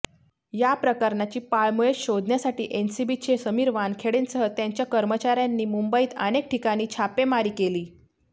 या प्रकरणाची पाळमुळे शोधण्यासाठी एनसीबीचे समीर वानखेडेंसह त्यांच्या कर्मचाऱ्यांनी मुंबईत अनेक ठिकाणी छापेमारी केली